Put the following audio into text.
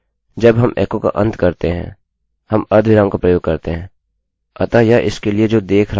किन्तु तब इसके बाद भीयह बिलकुल निरर्थक बन जाता है